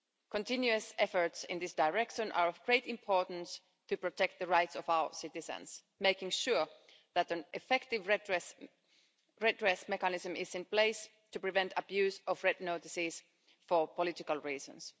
Continuous efforts in this direction are of great importance to protect the rights of our citizens, ensuring that an effective redress mechanism is in place to prevent the abuse of red notices for political reasons.